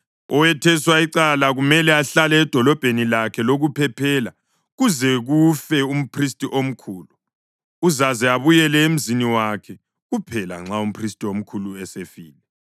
Owetheswe icala kumele ahlale edolobheni lakhe lokuphephela kuze kufe umphristi omkhulu; uzaze abuyele emzini wakhe kuphela nxa umphristi omkhulu esefile.